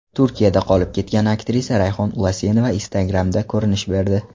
Turkiyada qolib ketgan aktrisa Rayhon Ulasenova Instagram’da ko‘rinish berdi.